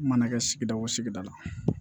Mana kɛ sigida o sigida la